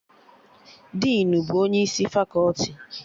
Dinu bụ onye isi fakọti